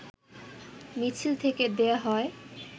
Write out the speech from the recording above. মিছিল থেকে দেয়া হয়